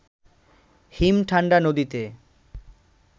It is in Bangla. হিম-ঠাণ্ডা নদীতে